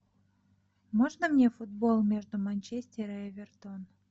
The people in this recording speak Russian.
можно мне футбол между манчестер и эвертон